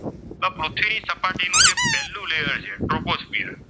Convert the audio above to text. તો કે પૃથ્વીની સપાટીનું પહેલું લેયર છે ટ્રોપોસ્ફિયર.